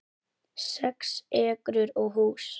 Sex ekrur og hús